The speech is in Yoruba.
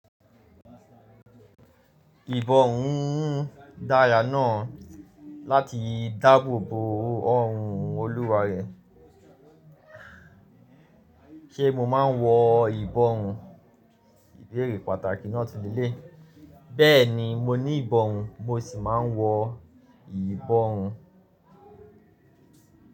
Ìbọn ohun darà náà láti dáàbò bo ọrùn Olúwa rẹ. Ṣé mo máa ń wọ ìbọn? Ìbéèrè pàtàkì náà tun lelẹ́yi. Bẹ́ẹ̀ni mo ní ìbọrun mo sì máa ń wọ ìbọrun.